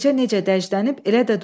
Gecə necə dəclənib, elə də durur.